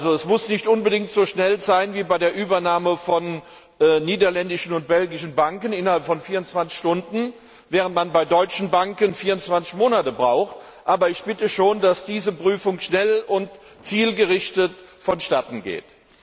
Es muss nicht unbedingt so schnell sein wie bei der Übernahme von niederländischen und belgischen Banken innerhalb von 24 Stunden, während man bei deutschen Banken 24 Monate braucht, aber ich bitte schon darum, dass diese Prüfung schnell und zielgerichtet vonstatten geht.